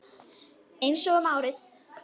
Einsog um árið.